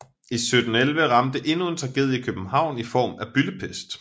I 1711 ramte endnu en tragedie København i form af byldepest